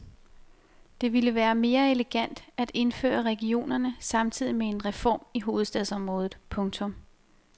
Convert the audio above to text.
Det ville være mere elegant at indføre regionerne samtidig med en reform i hovedstadsområdet. punktum